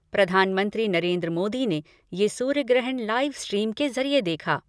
प्रधानमंत्री नरेन्द्र मोदी ने यह सूर्य ग्रहण लाईव स्ट्रीम के ज़रिये देखा।